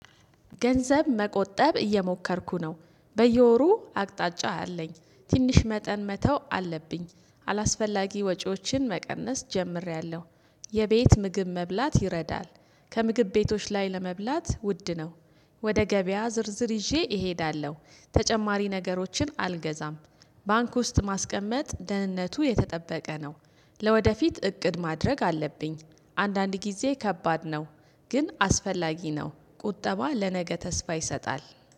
ገንዘብ መቆጠብ እየሞከርኩ ነው በየወሩ አቅጣጫ አለኝ ትንሽ መጠን መተው አለብኝ አላስፈላጊ ወጪዎችን መቀነስ ጀምሬያለሁ። የቤት ምግብ መብላት ይረዳል ከምግብ ቤቶች ላይ ለመብላት ውድ ነው። ወደ ገበያ ዝርዝር ይዤ እሄዳለሁ ተጨማሪ ነገሮችን አልገዛም። ባንክ ውስጥ ማስቀመጥ ደህንነቱ የተጠበቀ ነው። ለወደፊት እቅድ ማድረግ አለብኝ። አንዳንድ ጊዜ ከባድ ነው። ግን አስፈላጊ ነው ቁጠባ ለነገ ተስፋ ይሰጣል